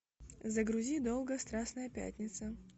загрузи долгая страстная пятница